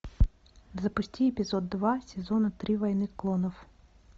запусти эпизод два сезона три войны клонов